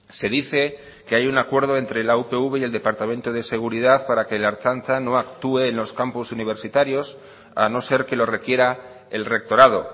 se dice que hay un acuerdo entre la upv y el departamento de seguridad para que la ertzaintza no actúe en los campus universitarios a no ser que lo requiera el rectorado